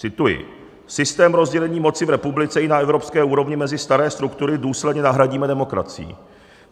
Cituji: "Systém rozdělení moci v republice i na evropské úrovni mezi staré struktury důsledně nahradíme demokracií.